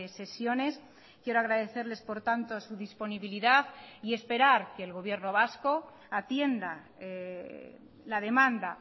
sesiones quiero agradecerles por tanto su disponibilidad y esperar que el gobierno vasco atienda la demanda